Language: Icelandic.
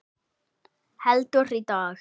Heldur, í dag!